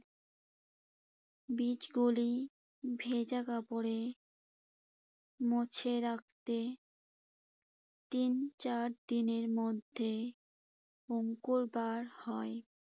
বীজগুলি ভেজা কাপড়ে মুছে রাখতে তিন, চার দিনের মধ্যে অংকুর বার হয়।